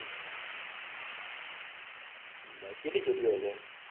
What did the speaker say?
કેટલી સીડિયો હશે